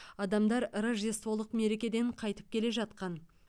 адамдар рождестволық мерекеден қайтып келе жатқан